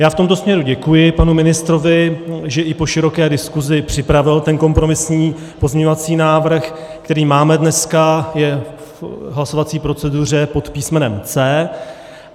Já v tomto směru děkuji panu ministrovi, že i po široké diskusi připravil ten kompromisní pozměňovací návrh, který máme dneska, je v hlasovací proceduře pod písmenem C.